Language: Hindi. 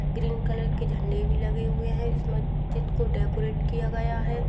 ग्रीन कलर के झंडे भी लगे हुए है उस मस्जिद को डेकोरैट भी किया गया है।